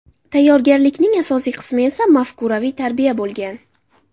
Tayyorgarlikning asosiy qismi esa mafkuraviy tarbiya bo‘lgan.